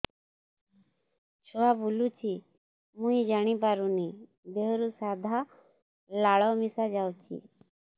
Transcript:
ଛୁଆ ବୁଲୁଚି ମୁଇ ଜାଣିପାରୁନି ଦେହରୁ ସାଧା ଲାଳ ମିଶା ଯାଉଚି